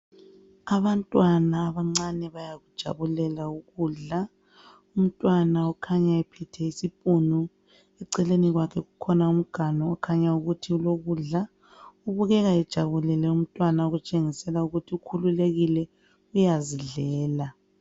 Abantwana abancane bayakujabulela ukudla , umntwana ukhanya ephethe isipunu , eceleni kwakhe kulomganu okukhanya ukuthi ulokudla , kubukeka bejabulile umtwana okutshengisela ukuthi ukhululekile uyazidlela